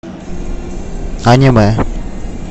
аниме